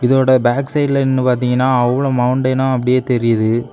இதோட பேக் சைடுல நின்னு பாத்தீங்கன்னா அவ்ளோ மௌண்டைனா அப்படியே தெரியுது.